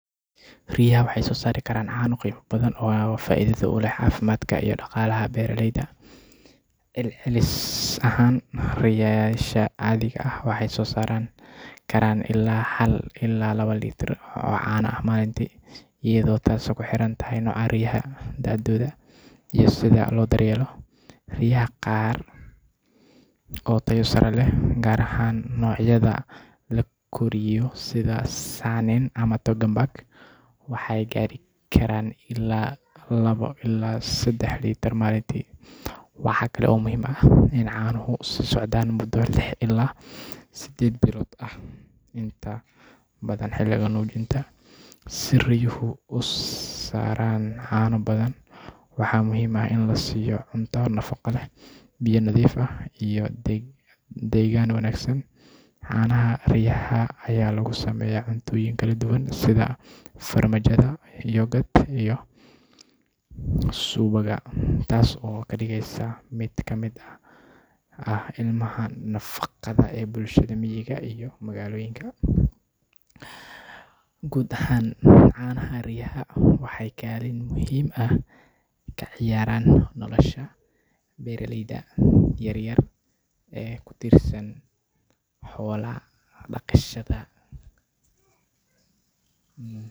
Arigu waa xoolo aad muhiim ugu ah bulshada reer miyiga Soomaaliyeed, gaar ahaan dadka ku nool deegaanka xoolo-dhaqatada ah. Marka laga hadlayo caanaha ariga, tirada litirrada uu arigu soo saari karo waxay ku xirnaan kartaa dhowr arrimood oo ay ka mid yihiin nooca ariga, da'diisa, caafimaadkiisa, iyo xaaladda deegaanka uu ku nool yahay. Ariga caafimaad qaba oo si fiican loo quudiyo kuna nool xaalad deggan ayaa awood u leh inuu maalintii soo saaro ilaa sedax litir oo caano ah, iyadoo xilliyada badankooda ay soo saarka caanuhu ku kala duwan yahay. Inta badan, arigaha dhalaya ayaa soo saara caano badan marka ay jiraan xilliyada.